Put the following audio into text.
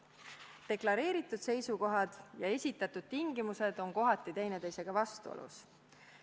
Deklareeritud seisukohad ja esitatud tingimused on kohati teineteisega vastuolus.